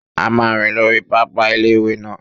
A máa rìn lórí pápá ilé-ìwé náà